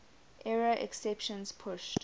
error exceptions pushed